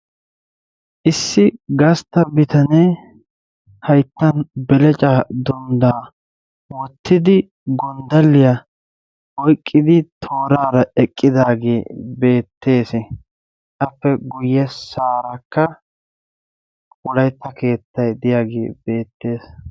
Issi gastta bitanee hayttan belecaa dunddaa wottidi gonddalliya oyqqidi tooraara eqqidaagee beettes. Appe guyyessaarakka wolaytta keettayi diyagee beettes.